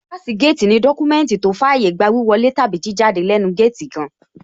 Páàsì géètì ní dọ́kúmẹ́ùntì àbí tó fàyé gba wíwọ lé tàbí kí jáde látẹẹnu géètì kan